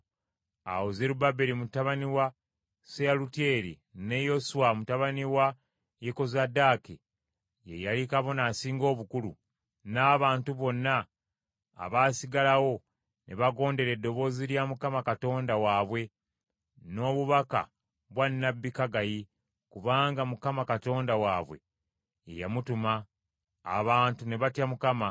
Awo Zerubbaberi mutabani wa Seyalutyeri, ne Yoswa mutabani wa Yekozadaaki, ye yali kabona asinga obukulu, n’abantu bonna abaasigalawo ne bagondera eddoboozi lya Mukama Katonda waabwe, n’obubaka bwa nnabbi Kaggayi, kubanga Mukama Katonda waabwe ye yamutuma. Abantu ne batya Mukama .